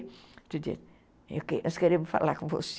Outro dia, nós queremos falar com você.